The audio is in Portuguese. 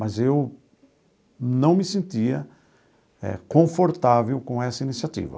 Mas eu não me sentia confortável com essa iniciativa.